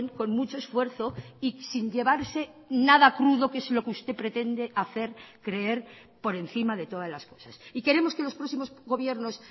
con mucho esfuerzo y sin llevarse nada crudo que es lo que usted pretende hacer creer por encima de todas las cosas y queremos que los próximos gobiernos